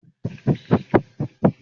Irú igi wo nìyẹn.